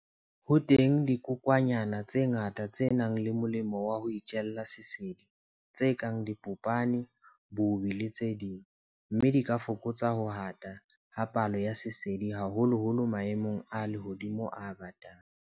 Ho teng dikokwanyana tse ngata tse nang le molemo wa ho itjella sesedi tse kang dipopane, bobi le tse ding, mme di ka fokotsa ho ata ha palo ya sesedi haholoholo maemong a lehodimo a batang.